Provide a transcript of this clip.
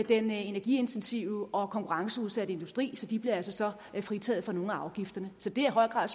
den energiintensive og konkurrenceudsatte industri så de bliver altså fritaget for nogle af afgifterne så det er i høj grad